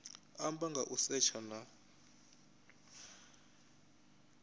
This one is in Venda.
amba nga u setsha na